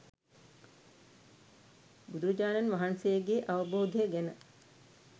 බුදුරජාණන් වහන්සේගේ අවබෝධය ගැන